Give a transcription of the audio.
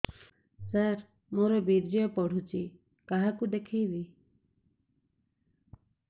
ସାର ମୋର ବୀର୍ଯ୍ୟ ପଢ଼ୁଛି କାହାକୁ ଦେଖେଇବି